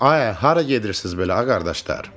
Ayə, hara gedirsiz belə ağa qardaşlar?